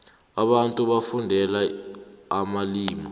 abantu bafundela amalimu